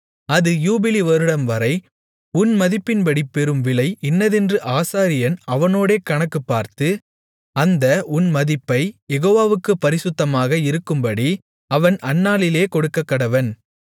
அது யூபிலி வருடம்வரை உன் மதிப்பின்படி பெறும்விலை இன்னதென்று ஆசாரியன் அவனோடே கணக்குப்பார்த்து அந்த உன் மதிப்பை யெகோவாவுக்குப் பரிசுத்தமாக இருக்கும்படி அவன் அந்நாளிலே கொடுக்கக்கடவன்